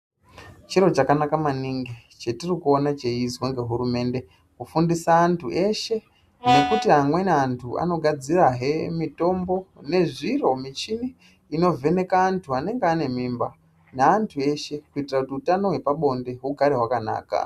Chiro chakanaka maningi chetiri kuona cheizwa ngehurumende kufundisa antu eshe nekuti amweni antu anogadzirahe mutombo nezviro michini inovheneke antu anenge ane mimba naantu eshe kuitire kuti utano hwepabonde hugare hwakanaka.